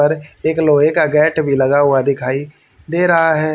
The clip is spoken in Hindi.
और एक लोहे का गेट भी लगा हुआ दिखाई दे रहा है।